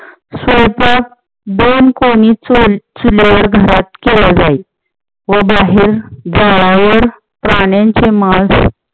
स्वयपाक दोन कोणी चूल, चुलेवर घरात केला जाई व बाहेर झाडावर प्राण्यांचे मास